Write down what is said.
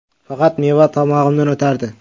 Faqat meva tomog‘imdan o‘tardi.